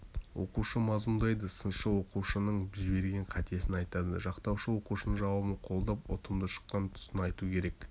оқушы мазмұндайды сыншы оқушының жіберген қатесін айтады жақтаушы оқушының жауабын қолдап ұтымды шыққан тұсын айту керек